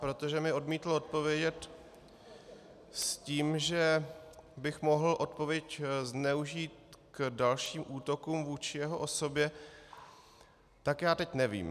Protože mi odmítl odpovědět s tím, že bych mohl odpověď zneužít k dalším útokům vůči jeho osobě, tak já teď nevím.